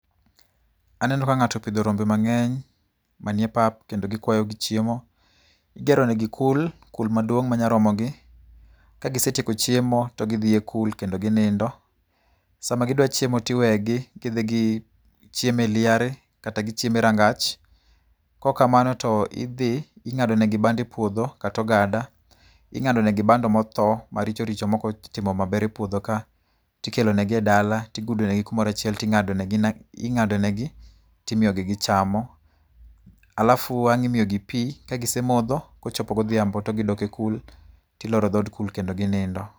Aneno ka ng'ato opidho rombe mang'eny manie pap kendo gikwayo gichiemo. Igero negi kul, kul maduong' ma nya romogi, kagisetieko chiemo to gidhi ekul kendo ginindo. Sama gidwa chiemo to iwegi gidhi gichiemo e liare kata gichiemo e rangach. Kaok kamano to idhi ing'ado negi bando e puodho, kata ogada. Ing'ado negi bando motho, maricho richo maok otimo maber e puodho ka, tikelonegi edala tigudogi kamoro achiel ting'ado negi ting'adonegi timiyogi gichamo. Alafu ang' imiyogi pi, kagisee modho, kochopo godhiambo to gidok e kul tiloro dhood kul kendo ginindo.